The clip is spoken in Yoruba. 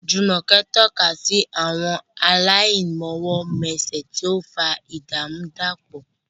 Jumoke tọ́ka sí àwọn aláìmọwọ́mẹsẹ̀, tí ó ń fa ìdàrúdàpọ̀.